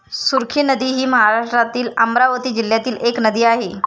सुरखी नदी हि महाराष्ट्रातील अमरावती जिल्ह्यातील एक नदी आहे.